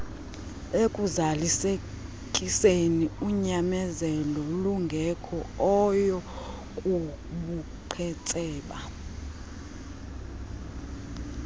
ekuzalisekiseni unyamezeloolungekhoyo kubuqhetseba